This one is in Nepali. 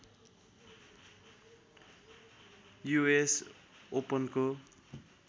युएस ओपनको